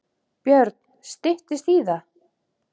Björn: Styttist í það?